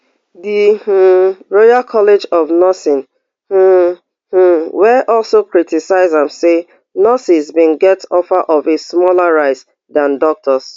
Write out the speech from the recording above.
di um royal college of nursing um um wey also criticise am say nurses bin get offer of a smaller rise dan doctors